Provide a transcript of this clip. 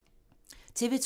TV 2